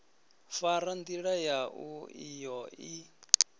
fara ndila yau iyo i